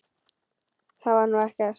Það var nú eitt.